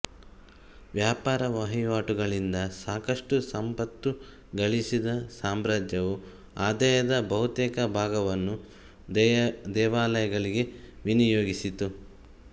ವ್ಯಾಪಾರ ವಹಿವಾಟುಗಳಿಂದ ಸಾಕಷ್ಟು ಸಂಪತ್ತು ಗಳಿಸಿದ ಸಾಮ್ರಾಜ್ಯವು ಆದಾಯದ ಬಹುತೇಕ ಭಾಗವನ್ನು ದೇವಾಲಯಗಳಿಗೆ ವಿನಿಯೋಗಿಸಿತು